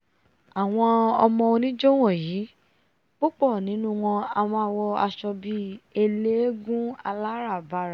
àwọn ọmọ oníjó wọ̀nyí púpọ̀ nínú wọn a máa wọ aṣọ bí eléégún aláràbarà